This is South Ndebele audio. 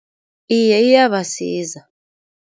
Iye iyabasiza.